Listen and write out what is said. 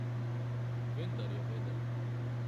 Vendar je vedel.